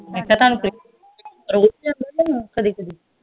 ਫੇਰ ਤਾਂ ਤੁਹਾਨੂੰ ਕੋਈ ਰੋਜ ਕੇ ਕਦੀ ਕਦੀ